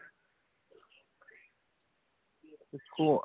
ਹੁਣ